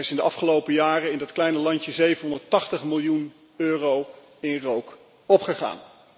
In de afgelopen jaren is in dat kleine landje 780 miljoen euro in rook opgegaan.